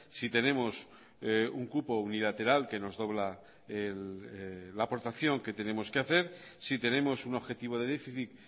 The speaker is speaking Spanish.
si tenemos un cupo unilateral que nos dobla la aportación que tenemos que hacer si tenemos un objetivo de déficit